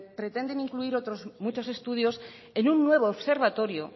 pretenden incluir otros muchos estudios en nuevo observatorio